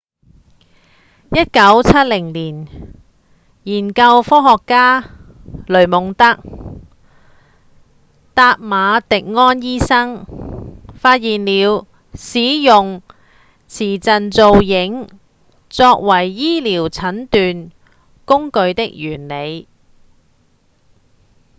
1970年研究科學家雷蒙德．達馬迪安醫生發現了使用磁振造影作為醫療診斷工具的原理